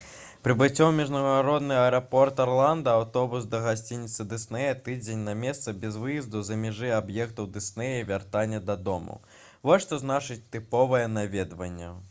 прыбыццё ў міжнародны аэрапорт арланда аўтобус да гасцініцы дыснея тыдзень на месцы без выезду за межы аб'ектаў дыснея і вяртанне дадому — вось што значыць «тыповае» наведванне